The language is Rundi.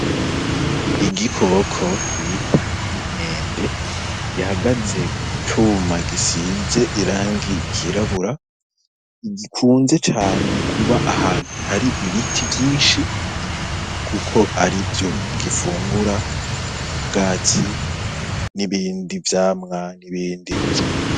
Igikoko bita imkwende gihagaze kucuma gisize irangi kirabura igikunze cane kuba ahantu hari ibiti vyinshi, kuko ari vyo gifungura ubwaci n'ibindi vyamwamya nibindiz.